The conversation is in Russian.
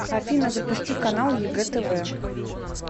афина запусти канал егэ тв